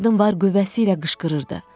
Qadın var qüvvəsiylə qışqırırdı.